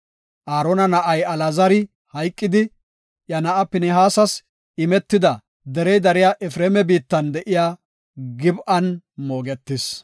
Aarona na7ay Alaazari hayqidi, iya na7aa Pinihaasas imetida derey dariya Efreema biittan de7iya Gib7an moogetis.